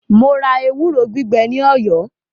Mo ra ewúro gbígbẹ ní Ọ̀yọ́.